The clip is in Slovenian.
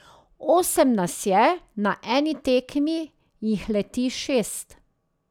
Osem nas je, na eni tekmi jih leti šest.